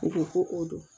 U ko ko o don